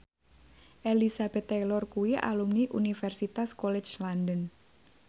Elizabeth Taylor kuwi alumni Universitas College London